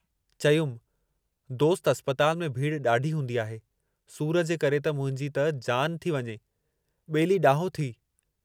चयुमि दोस्त अस्पताल में भीड़ ॾाढी हूंदी आहे, सूर जे करे त मुंहिंजी त जान थी वञे, ॿेली ॾाहो थीउ।